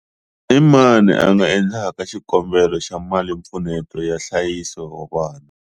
I mani a nga endlaka xikombelo xa malimpfuneto ya nhlayiso wa vana?